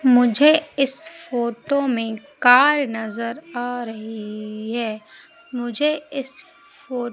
मुझे इस फोटो में कार नजर आ रही है। मुझे इस फो--